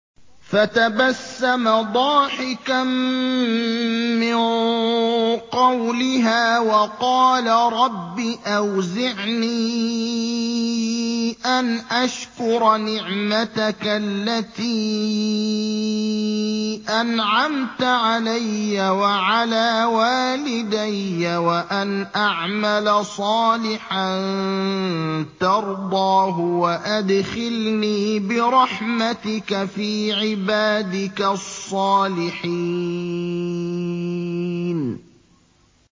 فَتَبَسَّمَ ضَاحِكًا مِّن قَوْلِهَا وَقَالَ رَبِّ أَوْزِعْنِي أَنْ أَشْكُرَ نِعْمَتَكَ الَّتِي أَنْعَمْتَ عَلَيَّ وَعَلَىٰ وَالِدَيَّ وَأَنْ أَعْمَلَ صَالِحًا تَرْضَاهُ وَأَدْخِلْنِي بِرَحْمَتِكَ فِي عِبَادِكَ الصَّالِحِينَ